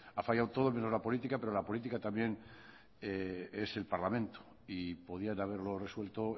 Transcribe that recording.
ha fallado todo menos la política pero la política también es el parlamento y podían haberlo resuelto